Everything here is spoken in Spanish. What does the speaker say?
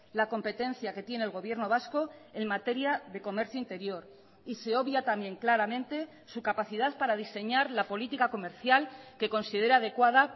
la competencia que tiene el gobierno vasco en materia de comercio interior y se obvia también claramente su capacidad para diseñar la política comercial que considera adecuada